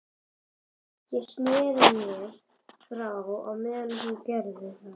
Ég sneri mér frá á meðan hún gerði það.